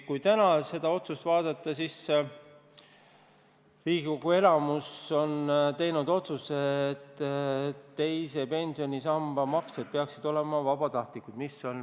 Kui täna seda otsust vaadata, siis Riigikogu enamus on teinud otsuse, et teise pensionisamba maksed peaksid olema vabatahtlikud.